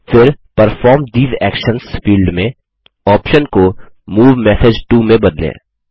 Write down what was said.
फिर परफॉर्म ठेसे actions field में ऑप्शन को मूव मेसेज टो में बदलें